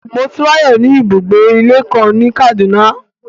Motunrayo ni ibugbe-ìlé kan ni Kaduna